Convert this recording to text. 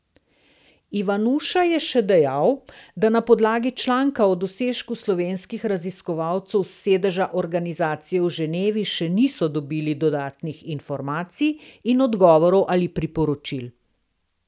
Ivanuša je še dejal, da na podlagi članka o dosežku slovenskih raziskovalcev s sedeža organizacije v Ženevi še niso dobili dodatnih informacij in odgovorov ali priporočil.